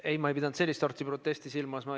Ei, ma ei pidanud sellist sorti protesti silmas.